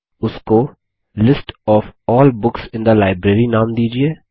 उसको list of all books in the library नाम दीजिये